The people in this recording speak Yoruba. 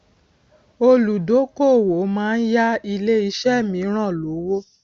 olùdókòwò màa n yá ilé iṣé mìíràn lówó